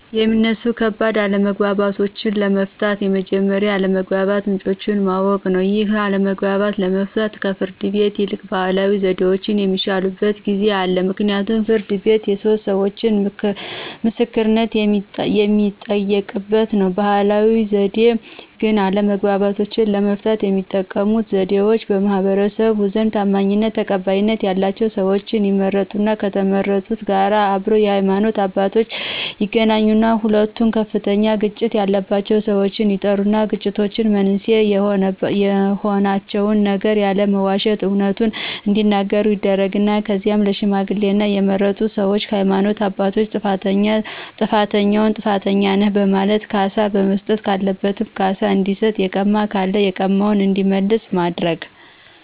የሚነሱ ከባድ አለመግባባቶችን ለመፍታት መጀመሪያ የአለመግባባት ምንጮችን ማወቅ ነው ይህን አለመግባባት ለመፍታት ከፍርድ ቤት ይልቅ ባህላዊ ዘዴዎች የሚሻሉበት ጊዜ አለ ምክንያቱም ፍርድ ቤት የሶስት ሰዎቾ ምስክርነት የሚጠየቅበት ነው። በባህላዊ ዘዴ ግን አለመግባባቶችን ለመፍታት የሚጠቀሙበት ዘዴዎች በማህበረሰቡ ዘንድ ታማኝነትና ተቀባይነት ያላቸው ሰዎች ይመረጣሉ ከተመረጡት ጋር አብረው የሃይማኖት አባቶች ይገኛሉ ሁለቱ ከፍተኛ ግጭት ያላቸው ሰዎች ይጠሩና የግጭት መንስኤ የሆናቸውን ነገር ያለመዋሸት አውነቱን እዲናገሩ ይደረግና ከዚያም ለሽምግልና የተመረጡ ሰዎችና የሃይማኖት አባቶች ጥፋተኛውን ጥፋተኛ ነህ በማለት ካሳ መስጠት ካለበትም ካሳ እንዲሰጥ የቀማ ካለ የቀማውን እንዲመልስ በማድረግ